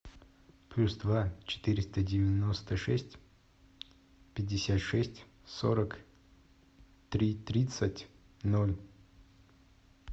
плюс два четыреста девяносто шесть пятьдесят шесть сорок три тридцать ноль